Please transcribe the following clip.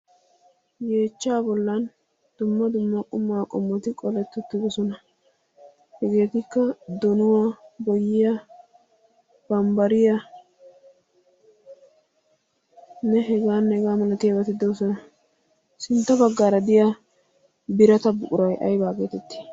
Yeechcha bollan dumma dumma quma qommoti qoleti uttidoosona. Hegetikka donuwa, boyyiya, bambbariyanne heganne hegaa malatiyaabati doosona. sintta baggaara diyaa birata buquray aybba getetti?